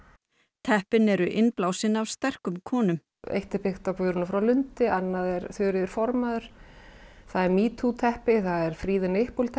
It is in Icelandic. teppin eru innblásin af sterkum konum eitt er byggt á Guðrúnu frá Lundi annað er Þuríður formaður það er metoo teppi það er free the nipple teppi